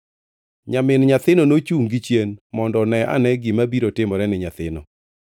Nyamin nyathino nochungʼ gichien mondo one ane gima biro timore ni nyathino.